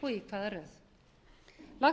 til að við